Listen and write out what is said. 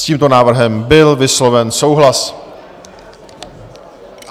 S tímto návrhem byl vysloven souhlas.